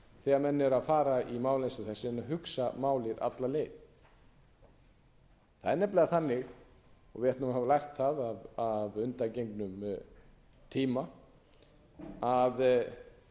þegar menn eru að fara í mál eins og þessi ef menn hugsa málið alla leið það er nefnilega þannig og við ættum að hafa lært það af undangengnum tíma að